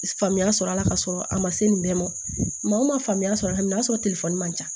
Faamuya sɔrɔ a la ka sɔrɔ a ma se nin bɛɛ ma maa o ma faamuya sɔrɔ ka n'a sɔrɔ telefɔni man ca